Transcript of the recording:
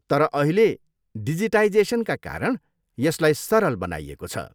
तर अहिले डिजिटाइजेसनका कारण यसलाई सरल बनाइएको छ।